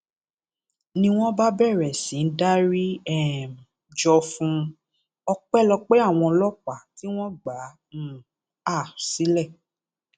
ni wọn bá bẹrẹ sí í dárí um jọ fún un ọpẹlọpẹ àwọn ọlọpàá tí wọn gbà um á sílẹ